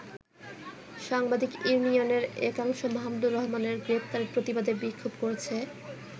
সাংবাদিক ইউনিয়নের একাংশ মাহমুদুর রহমানের গ্রেপ্তারের প্রতিবাদে বিক্ষোভ করেছে।